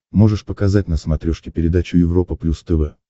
можешь показать на смотрешке передачу европа плюс тв